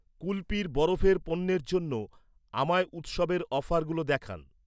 কুলপির বরফের পণ্যের জন্য আমায় উৎসবের অফারগুলো দেখান।